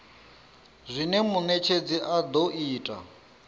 zwine munetshedzi a do ita